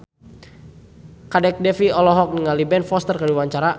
Kadek Devi olohok ningali Ben Foster keur diwawancara